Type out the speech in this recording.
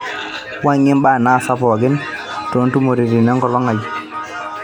wuangie mbaa naasa pooki too ntumoriti tenkolong aai